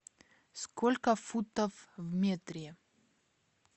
сколько футов в метре